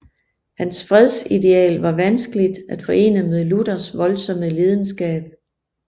Hans fredsideal var vanskeligt at forene med Luthers voldsomme lidenskab